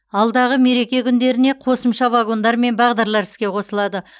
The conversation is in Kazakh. алдағы мереке күндеріне қосымша вагондар мен бағдарлар іске қосылады